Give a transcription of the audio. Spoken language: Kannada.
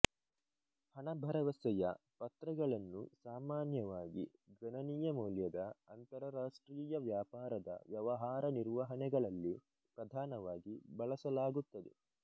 ಹಣಭರವಸೆಯ ಪತ್ರಗಳನ್ನು ಸಾಮಾನ್ಯವಾಗಿ ಗಣನೀಯ ಮೌಲ್ಯದ ಅಂತರರಾಷ್ಟ್ರೀಯ ವ್ಯಾಪಾರದ ವ್ಯವಹಾರ ನಿರ್ವಹಣೆಗಳಲ್ಲಿ ಪ್ರಧಾನವಾಗಿ ಬಳಸಲಾಗುತ್ತದೆ